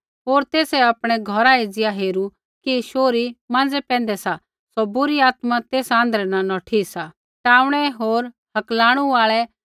होर तेसै आपणै घौरा एज़िया हेरू कि शौहरी माँज़ै पैंधै सा होर बुरी आत्मा तेसा आँध्रै न नौठी सा